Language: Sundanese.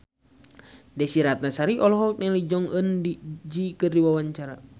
Desy Ratnasari olohok ningali Jong Eun Ji keur diwawancara